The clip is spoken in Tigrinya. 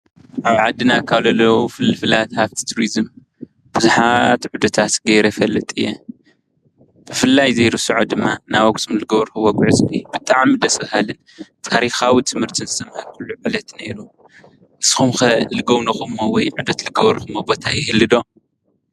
ኣብ ዓድና ካብ ዘለዉ ፍልፍላት ሃፍቲ ቱሪዝም ብዙሓት ዑደት ጌረ ይፈልጥ እየ። ብፍላይ ዘይርስዖ ድማ ናብ ኣክሱም ዝገበርክዎ ጉዕዞ እዩ ።ብጣዕሚ ደስ በሃሊን ታሪካዊ ትምርቲ ዝተመሃርኩሉ ዕለት ኔሩ። ንስኩም ከ ዝጎብነክምዎ ወይ ዑደት ዝገበርክሞ ቦታ ይህሉ ዶ ?